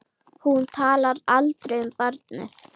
Hún talar aldrei um barnið.